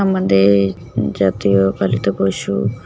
আমাদের জাতীয় পালিত পশু--